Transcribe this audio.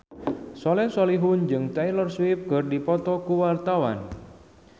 Soleh Solihun jeung Taylor Swift keur dipoto ku wartawan